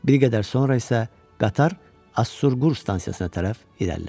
Bir qədər sonra isə qatar Asurqur stansiyasına tərəf irəlilədi.